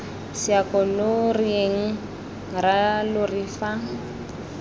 seako lo reyeng rralori fa